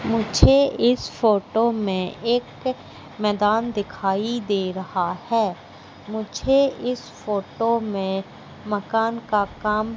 मुझे इस फोटो में एक मैदान दिखाई दे रहा है मुझे इस फोटो में मकान का काम--